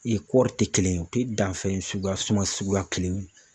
kɔɔri tɛ kelen ye u tɛ danfɛn suguya suma suguya kelen ye.